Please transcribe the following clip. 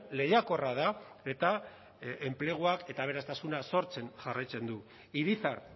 lehiakorra da eta enplegua eta aberastasuna sortzen jarraitzen du irizar